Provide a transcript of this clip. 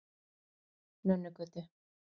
Nönnugötu